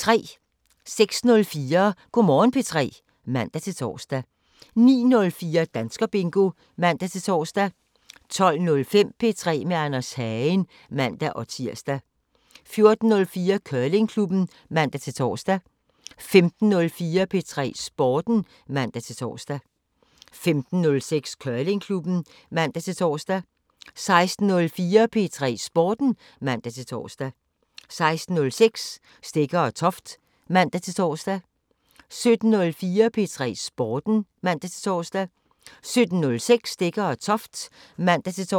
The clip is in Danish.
06:04: Go' Morgen P3 (man-tor) 09:04: Danskerbingo (man-tor) 12:05: P3 med Anders Hagen (man-tir) 14:04: Curlingklubben (man-tor) 15:04: P3 Sporten (man-tor) 15:06: Curlingklubben (man-tor) 16:04: P3 Sporten (man-tor) 16:06: Stegger & Toft (man-tor) 17:04: P3 Sporten (man-tor) 17:06: Stegger & Toft (man-tor)